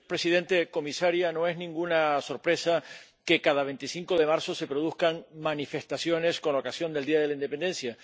Señor presidente, comisaria, no es ninguna sorpresa que cada 25 de marzo se produzcan manifestaciones con ocasión del Día de la Independencia.